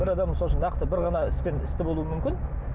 бір адам сол үшін нақты бір ғана іспен істі болуы мүмкін